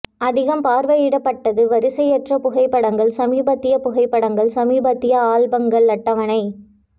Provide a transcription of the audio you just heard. அதிகம் பார்வையிடப்பட்டது வரிசையற்ற புகைப்படங்கள் சமீபத்திய புகைப்படங்கள் சமீபத்திய ஆல்பங்கள் அட்டவணை